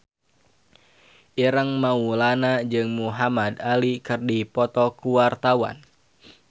Ireng Maulana jeung Muhamad Ali keur dipoto ku wartawan